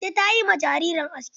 Bintu wanzamiya ta yi ma jaririn aski.